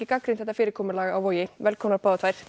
gagnrýnt þetta fyrirkomulag á Vogi velkomnar